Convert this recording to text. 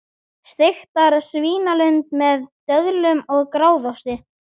Steiktar svínalundir með döðlum og gráðaosti